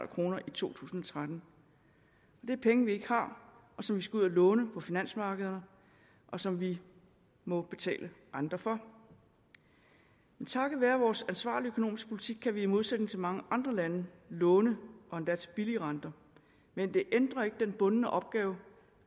kroner i to tusind og tretten det er penge vi ikke har som vi skal ud at låne på finansmarkederne og som vi må betale renter for men takket være vores ansvarlige økonomiske politik kan vi i modsætning til mange andre lande låne og endda til billige renter men det ændrer ikke den bundne opgave